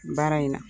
Baara in na